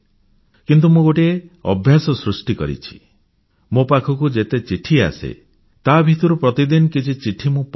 କିନ୍ତୁ ମୁଁ ଗୋଟିଏ ଅଭ୍ୟାସ ସୃଷ୍ଟି କରିଛି ମୋ ପାଖକୁ ଯେତେ ଚିଠି ଆସେ ତା ଭିତରୁ ପ୍ରତିଦିନ କିଛି ଚିଠି ମୁଁ ପଢ଼େ